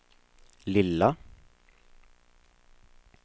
lilla